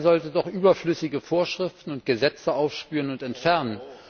Er sollte doch überflüssige Vorschriften und Gesetze aufspüren und entfernen.